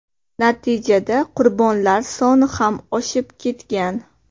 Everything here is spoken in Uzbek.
Natijada qurbonlar soni ham oshib ketgan.